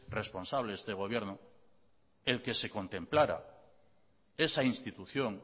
responsable este gobierno el que se contemplara esa institución